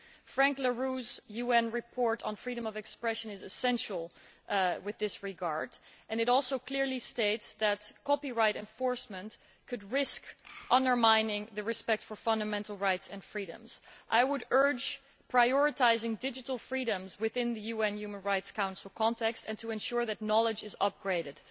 Frank La Rue's UN report on freedom of expression is essential in this regard. It also clearly states that copyright enforcement could risk undermining the respect for fundamental rights and freedoms. I would urge prioritising digital freedoms within the UN Human Rights Council context and to ensure that information is upgraded.